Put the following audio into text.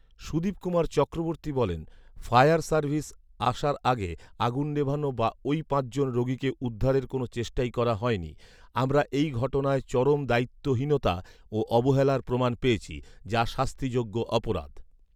সুদীপ কুমার চক্রবর্তী বলেন, ‘‘fire service আসার আগে আগুন নেভানো বা ওই পাঁচজন রোগীকে উদ্ধারের কোনও চেষ্টাই করা হয়নি৷ আমরা এই ঘটনায় চরম দায়িত্বহীনতা ও অবহেলার প্রমাণ পেয়েছি, যা শাস্তিযোগ্য অপরাধ৷’’